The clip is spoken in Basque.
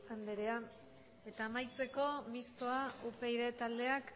andrea eta amaitzeko mistoa upyd taldeak